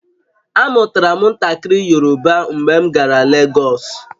Amụtara m ntakịrị Yoruba mgbe m gara Legọsụ